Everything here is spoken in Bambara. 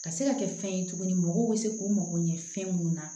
Ka se ka kɛ fɛn ye tuguni mɔgɔw bɛ se k'u mago ɲɛ fɛn mun na